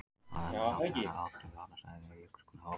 Á þennan hátt verða oft til vatnastæði er jökullinn hopar.